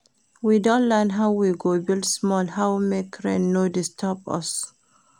We don learn how we go build small how make rain no disturb us.